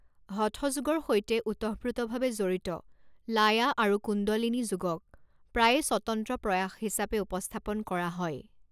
হঠ যোগৰ সৈতে ওতঃপ্ৰোতভাৱে জড়িত লায়া আৰু কুণ্ডলিনি যোগক প্ৰায়ে স্বতন্ত্ৰ প্ৰয়াস হিচাপে উপস্থাপন কৰা হয়।